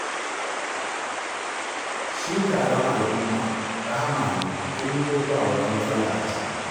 Shi taron al'umma, rahama ne, in dai ba wata matsala a ciki.